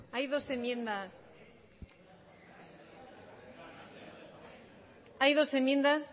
hay dos enmiendas